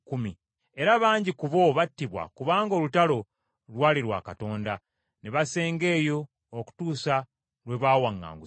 Era bangi ku bo battibwa kubanga olutalo lwali lwa Katonda. Ne basenga eyo okutuusa lwe baawaŋŋangusibwa.